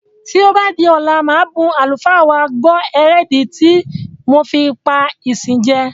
Tí ó bá di ọ̀la màá bun àlùfáà wa gbọ̀ èrèdí ti mo fi pá ìsìn jẹ.